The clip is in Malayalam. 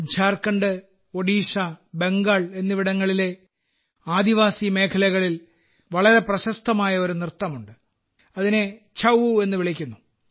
ഝാർഖണ്ഡ് ഒഡീഷ ബംഗാൾ എന്നിവിടങ്ങളിലെ ആദിവാസി മേഖലകളിൽ വളരെ പ്രശസ്തമായ ഒരു നൃത്തമുണ്ട് അതിനെ ഛഊ എന്ന് വിളിക്കുന്നു